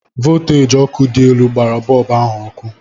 Volteji ọkụ dị elu gbara bọlbụ ahụ ọkụ.